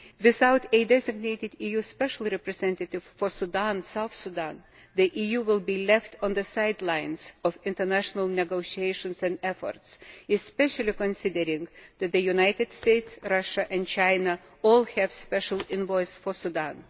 Without a designated EU Special Representative for Sudan and South Sudan, the EU will be left on the sidelines of international negotiations and efforts, especially considering that the United States, Russia and China all have special envoys for Sudan.